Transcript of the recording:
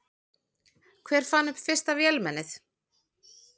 Hver fann upp fyrsta vélmennið?